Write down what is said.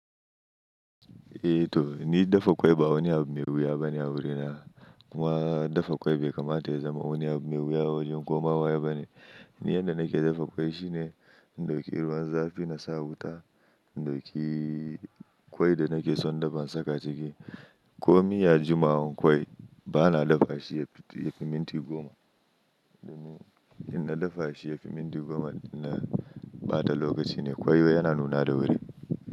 Eh to ni dafa ƙwai ba wani abu mai wuya bane a wurina. Kuma dafa ƙwai bai kamata ya zama wani abu mai wuya a wajen komawe bane. Ni yadda nake dafa ƙwai shine, in dauki ruwan zafi na sa wuta, in dauki ƙwai da nake son dafa na saka ciki. Ko miya, juma'a ko ƙwai bana dafa shi ya fi minti goma. In na dafa shi ya fi minti goma na ɓata lokaci ne. Ƙwai yau yana nuna da wuri.